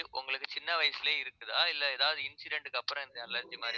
உங்களுக்கு சின்ன வயசுலயே இருக்குதா இல்லை ஏதாவது incident க்கு அப்புறம் இந்த allergy மாதிரி